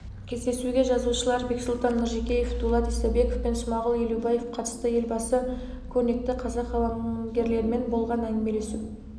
кездесуге жазушылар бексұлтан нұржекеев дулат исабеков пен смағұл елубаев қатысты елбасы көрнекті қазақ қаламгерлерімен болған әңгімелесу